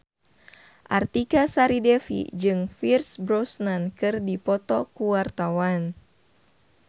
Artika Sari Devi jeung Pierce Brosnan keur dipoto ku wartawan